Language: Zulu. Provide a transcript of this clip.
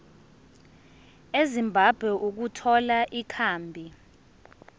ezimbabwe ukuthola ikhambi